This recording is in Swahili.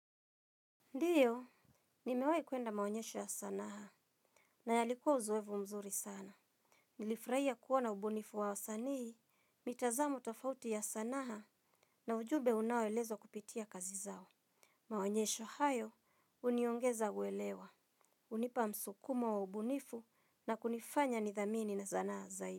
Ndiyo, nimewai kuenda maonyesho ya sanaa na yalikuwa uzoefu mzuri sana. Nilifurahia kuona ubunifu wa wasanii, mitazamo tofauti ya sanaha na ujumbe unaoelezwa kupitia kazi zao. Maonyesho hayo, huniongeza uelewa. Unipa msukumo wa ubunifu na kunifanya nidhamini na sanaa zaidi.